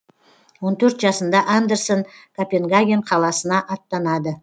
он төрт жасында андерсен копенгаген қаласына аттанады